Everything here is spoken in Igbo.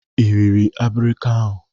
Ị riri abirika ahụ?